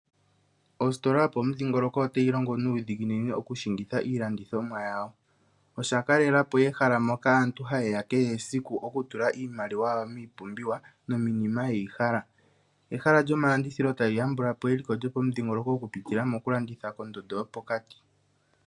Ositola yomomudhilongoloko otayi longo nuudhiginini okushingitha iilandithomwa yawo. Osha kalelapo ehala moka aantu hayeya kehe esiku okutula iimaliwa yawo miipumbiwa, nomiinima yeyi hala. Ehala lyomalandithilo tali yambulapo eliko lyopomudhingoloko, okupitila pondondo yopokati.